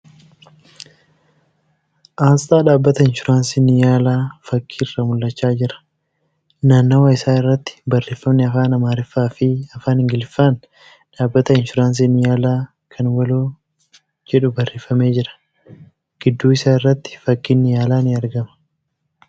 Asxaa dhaabbata inshuraansii Niyaalaa fakki irraa mul'achaa jira . Naannawaa isaa irratti Barreeffamni Afaan Amaariffaa fi Afaan Ingiliffaan ' Dhaabbata Inshuraansii niyaalaa kan waloo ' jedhu barreeffamee jira. Gidduu isaa irratti fakkiin Niyaalaa ni argama.